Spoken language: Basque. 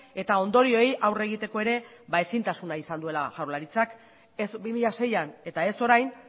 eta ondorioei aurre egiteko ere ezintasuna izan duela jaurlaritzak ez bi mila seian eta ez orain